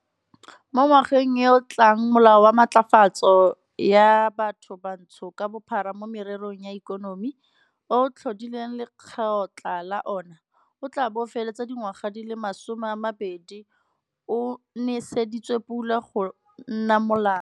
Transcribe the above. Mo ngwageng yo o tlang Molao wa Matlafatso ya Bathobantsho ka Bophara mo Mererong ya Ikonomi B-BBEE, o o tlhodileng lekgotla la ona, o tla bo o fetsa dingwaga di le masomeamabedi o neseditswe pula go nna molao.